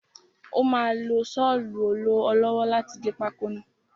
Ó máa lo sọlu ọ lọ́wọ́ láti gé pákó náà.